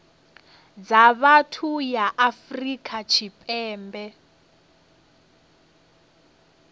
dza vhathu ya afrika tshipembe